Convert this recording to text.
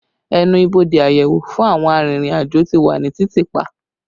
Ẹnu ibodè àyẹ̀wò fún àwọn arìnrìn-àjò ti wà ní títì pa